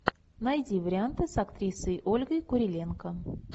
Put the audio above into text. найди варианты с актрисой ольгой куриленко